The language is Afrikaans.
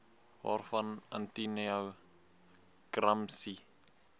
waarvan antonio gramsci